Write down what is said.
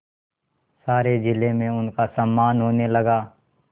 सारे जिले में उनका सम्मान होने लगा